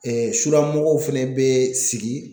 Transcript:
sumɔgɔw fɛnɛ bɛ sigi